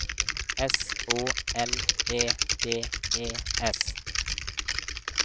S Å L E D E S